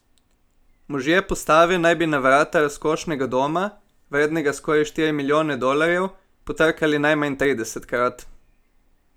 Možje postave naj bi na vrata razkošnega doma, vrednega skoraj štiri milijone dolarjev, potrkali najmanj tridesetkrat!